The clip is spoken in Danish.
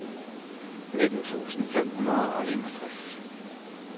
nitten tusind fem hundrede og enogtres